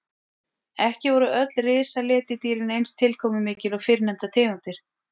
Ekki voru öll risaletidýrin eins tilkomumikil og fyrrnefndar tegundir.